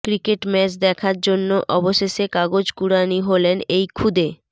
cricket match দেখার জন্য অবশেষে কাগজ কুড়ানি হলেন এই খুদে